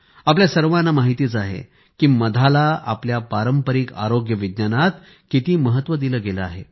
आपल्या सर्वांना माहितच आहे की मधाला आपल्या पारंपारिक आरोग्य विज्ञानात किती महत्व दिले गेले आहे